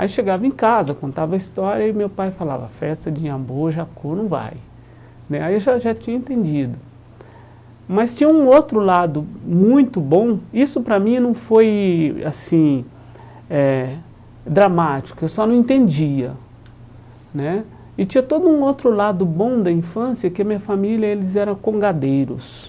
Aí chegava em casa, contava a história e meu pai falava, festa de Iambu, Jacu, não vai né Aí eu já já tinha entendido Mas tinha um outro lado muito bom, isso para mim não foi assim eh... dramático, eu só não entendia né E tinha todo um outro lado bom da infância, que a minha família, eles era congadeiros